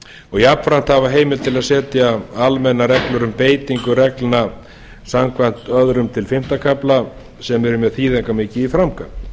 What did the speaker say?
og jafnframt hafa heimild til að setja almennar reglur um beitingu reglna samkvæmt öðrum til fimmta kafla sem er mjög þýðingarmikið í framkvæmd